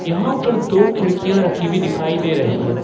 यहां पर दो खिड़कियां रखी हुई दिखाई दे रही है।